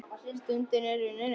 Stundin er runnin upp.